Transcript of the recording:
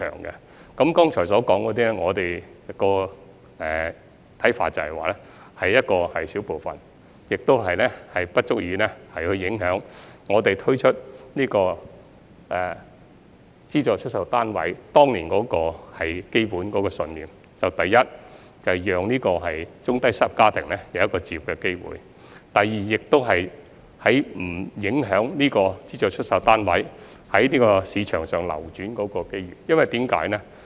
那麼，就剛才所說的情況，我們的看法是這只是少數情況，不足以影響我們當年推出資助出售單位的基本信念，就是第一，讓中低收入家庭有置業的機會；第二，不影響資助出售單位在市場上流轉的機會。